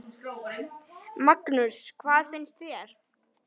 Magnús: Hvað finnst þér?